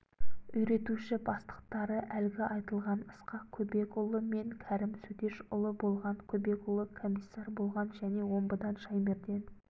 үйретуші бастықтары әлгі айтылған ысқақ көбекұлы мен кәрім сөтешұлы болған көбекұлы комиссар болған және омбыдан шаймерден